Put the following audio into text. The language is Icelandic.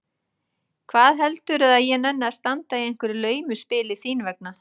Hvað heldurðu að ég nenni að standa í einhverju laumuspili þín vegna?